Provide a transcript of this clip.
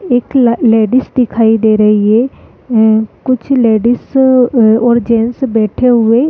एक लेडीस दिखाई दे रही है उम् कुछ लेडिस और जेन्ट्स बैठे हुए --